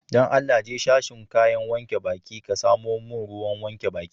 Dan Allah, je sashin kayan wanke baki, ka samo mun ruwan wankin baki.